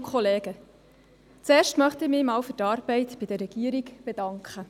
Zuerst möchte ich mich bei der Regierung für ihre Arbeit bedanken.